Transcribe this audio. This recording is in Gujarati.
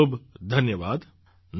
ખૂબ ખૂબ ધન્યવાદ